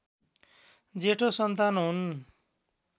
जेठो सन्तान हुन्